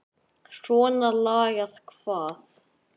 Svona lagað hvað?